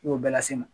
I y'o bɛɛ lase n ma